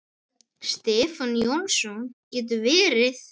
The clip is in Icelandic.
Stefán Jónsson getur verið